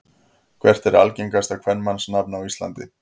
Hvert er algengasta kvenmannsnafn á Íslandi?